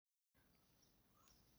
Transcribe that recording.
Sidee loo dhaxlaa Wildervanck ciladha?